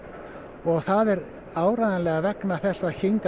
og það er áreiðanlega vegna þess að hingað